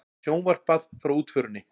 Sjónvarpað frá útförinni